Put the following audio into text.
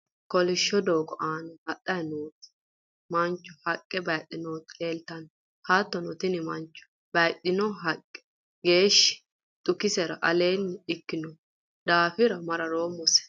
kolishsho doogo aana hadhanni noo mancho haqqe bayiidhe nooti leeltanno. hattono tini mancho bayiidhino haqqe geeshshi xukisera aleenni ikkino daafo mararoommose.